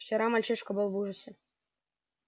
вчера мальчишка был в ужасе